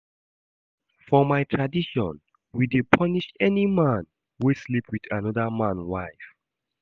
For my tradition, we dey punish any man wey sleep wit anoda man wife.